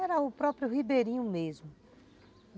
Era o próprio ribeirinho mesmo.